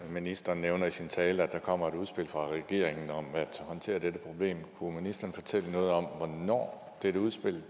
det ministeren nævner i sin tale at der kommer et udspil fra regeringen om at håndtere dette problem kunne ministeren fortælle noget om hvornår dette udspil